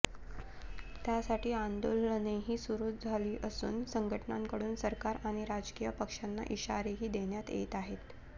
त्यासाठी आंदोलनेही सुरू झाली असून संघटनांकडून सरकार आणि राजकीय पक्षांना इशारेही देण्यात येत आहेत